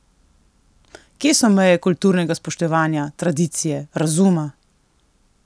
Kje so meje kulturnega spoštovanja, tradicije, razuma!